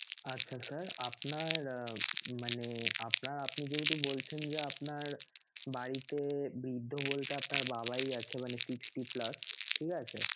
আচ্ছা sir আপনার মানে আপনার~ আপনি যেহেতু বলছেন যে, আপনার বাড়িতে বৃদ্ধ বলতে আপনার বাবাই আছে মানে sixty plus ঠিক আছে?